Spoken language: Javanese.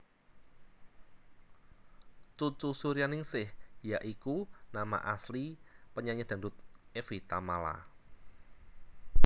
Cucu Suryaningsih Ya iku nama asli penyanyi dangdut Evi Tamala